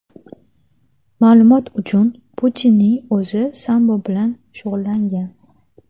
Ma’lumot uchun, Putinning o‘zi sambo bilan shug‘ullangan.